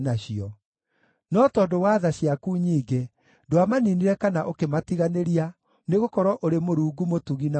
No tondũ wa tha ciaku nyingĩ, ndwamaniinire kana ũkĩmatiganĩria, nĩgũkorwo ũrĩ Mũrungu mũtugi na mũigua tha.